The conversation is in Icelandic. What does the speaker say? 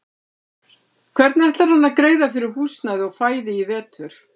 Hvernig ætlar hann að greiða fyrir húsnæði og fæði í vetur?